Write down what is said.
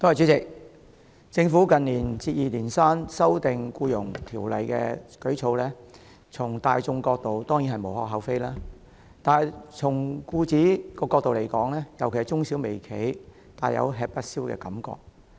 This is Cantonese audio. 代理主席，政府近年接二連三修訂《僱傭條例》的舉措，從大眾角度而言當然是無可厚非，但對僱主來說，尤其是中小微企，便大有吃不消的感覺。